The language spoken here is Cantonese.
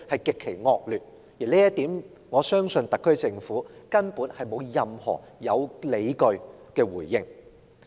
我相信就這一點而言，特區政府根本沒有任何有理據的回應。